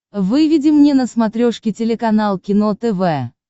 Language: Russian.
выведи мне на смотрешке телеканал кино тв